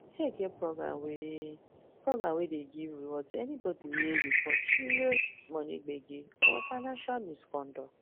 sec get program wey program wey dey give reward to anybody wey report serious money gbege or financial misconduct